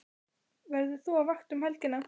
Verður þú á vakt um helgina?